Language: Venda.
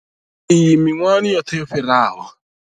Iyi miṅwahani yoṱhe yo fhiraho.